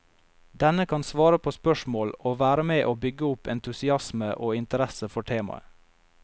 Denne kan svare på spørsmål og være med å bygge opp entusiasme og interesse for temaet.